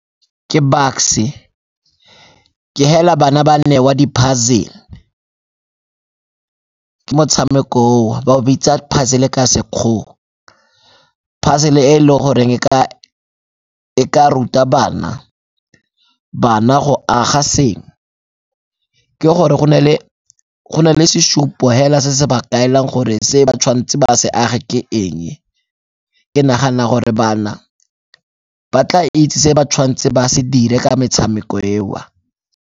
Ke Bucks-e, ke hela bana ba nne wa di-puzzle-le ke motshameko o ba o bitsa pizzle-le ka Sekgowa. Puzzle-le e e le goreng e ka ruta bana, bana go aga sengwe ke gore go ne le sesupo hela se se ba kaelang gore se ba tshwanetse ba se age ke eng. Ke nagana gore bana ba tla itse se ba tshwanetse ba se dire ka metshameko eo.